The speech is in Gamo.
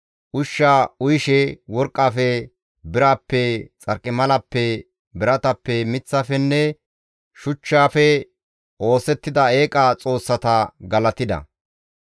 Ushsha uyishe worqqafe, birappe, xarqimalappe, biratappe, miththafenne shuchchafe oosettida eeqa xoossata galatida.